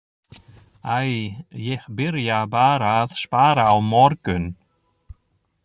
Æ, ég byrja bara að spara á morgun